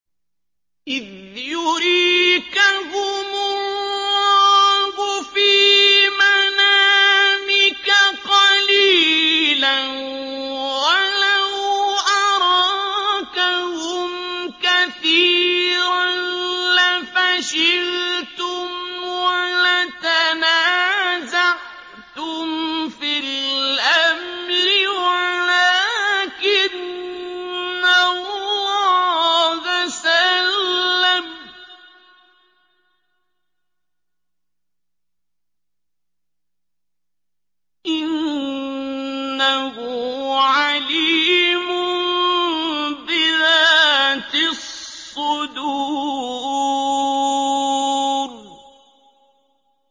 إِذْ يُرِيكَهُمُ اللَّهُ فِي مَنَامِكَ قَلِيلًا ۖ وَلَوْ أَرَاكَهُمْ كَثِيرًا لَّفَشِلْتُمْ وَلَتَنَازَعْتُمْ فِي الْأَمْرِ وَلَٰكِنَّ اللَّهَ سَلَّمَ ۗ إِنَّهُ عَلِيمٌ بِذَاتِ الصُّدُورِ